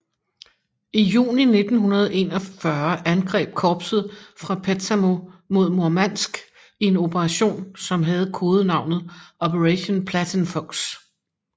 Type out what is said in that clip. I juni 1941 angreb korpset fra Petsamo mod Murmansk i en operation som havde kodenavnet Operation Platinfuchs